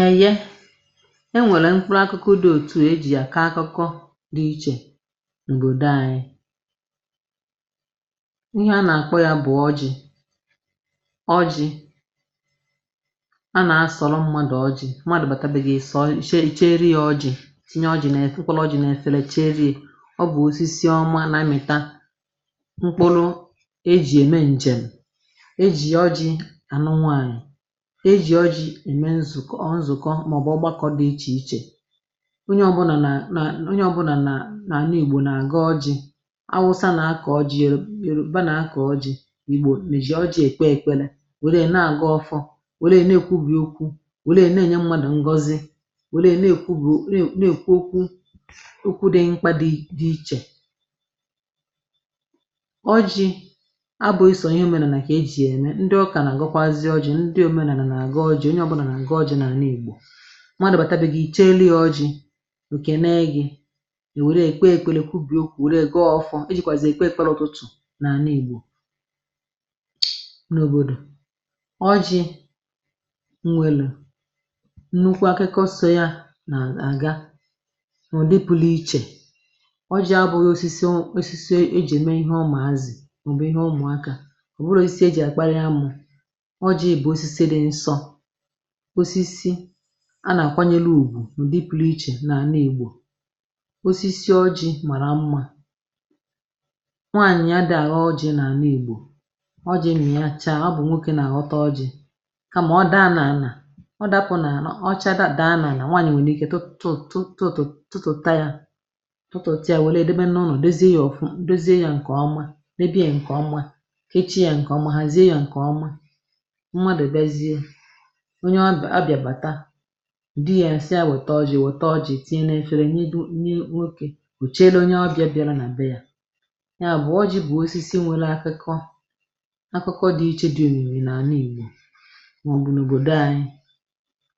Eye, enwèle mkpụrụ akụkụ dị òtù ejì yà akakụkọ dị ichè nobodo ànyị. Ihe a nà-àkpọ yȧ bụ̀ ọjị̀, ọjị a nà-asọlọ mmadụ̀ ọjị̀. Mmadụ̀ bàtà be gị ịsò i cheri icheria ọjị, ị chịrị ọjị̀ tinye ọjị nefe mkpụlụ ọjị nefele icheriya. Ọ bụ osis ọma nà-amị̀ta mkpụlụ eji eme njem. E ji ọjị anụ nwanyị, e ji ọjị eme nzu nzukọ maọbụ ọgbakọ̇ dị ichè ichè. Onye ọbụna na na onye ọbụna na na nanIgbò na-agọjị. Awụsa na-akọ̀ ọjị, Yoro Yoroba na-akọ̀ ọjị, Igbò n ji ọjị̇ èkpe èkpere were ya na-agọ ọfọ, wele e nekwu̇bì okwu welee nenye mmadụ̀ ngọzi welee nekwubì o nė ekwu okwu okwu dị dị mkpȧ dị ichè. Ọjị̇ abụ̇ghịsọ ihe òmenànà kà ejì yème, ndị ụkà na-agọkwazi ọjị̇, ndị omenàna-agọ ọjị onye ọbụna nagọ ọjị n’àna Igbò. Mmadụ bàtà begị, i chelụ ya ọjị, o kenee gị i wele ya kwubie okwu gọọ ọfọ. E jikwazi ya ekpe ekpele n'ụtụtụ nànà Igbo nobodo. Ọjị nwelụ nnukwu akụkọ so ya naga nụdị pụliche. Ọjị abụghị osisi ụ osisi e ji eme ihe ụmazị maọbụ ihe ụmụaka ọbụghị osisi e ji akparị amụ. Ọjị bụ osisi dị nsọ, osisi àlà ọ bụ̀ nà na-akwanyulugwu nụdị pụliche nanigbo. Osisi ọjị̇ màrà mmȧ, nwànyị̀ ada aghọ ọjị̇ na àna Igbò. Ọjị̇ mịa chaa, ọ bụ̀ nwokė nà-àghọta ọjị̇, kamà ọ daa nà ànà, ọ dapụ̀ nà àna ọ chaa dapụ nanà nà nwànyị̀ nwerike tụtụ tụtụ tụtụ̀ tụtụ̀tịa tụtụtụ ịa wèlè ya debe nụnọ dozie ya ọfụ dozie ya ǹkè ọma debe ya ǹkè ọma kechi ya ǹkè ọma hazie ya ǹkè ọma mmadụ bịazie, onye ọba ọbịa bata, di yȧ sị ya wèta ọjị̇ wèta ọjị tinye nefere nye nwokė nwokė o chere onye ọbịa bịara nà be yà. Nya bụ̀ ọjị bụ̀ osisi nwele akịkọ akụkọ dị iche dị òmimi nànịIgbo màọ̀bụ̀ n’òbòdo anyị